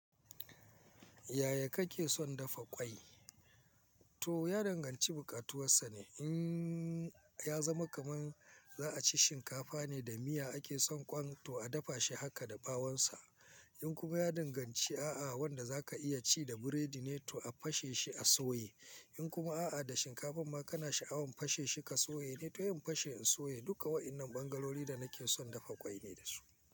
Yaya kake son dafa ƙwai? To ya danganci buƙatuwansa ne. In ya zama kaman za a ci shinkafa ne da miya, ake son kwan to a dafa shi haka da bawansa. In kuma ya danganci a'a wanda za ka iya ci da biredi ne to a fashe shi a soya. In kuma a'a da shinkafa ma kana sha'awan fashe shi ka soya ne to yin fashe in soya. Duka waɗannan ɓangarori da nake son dafa ƙwai ne da su.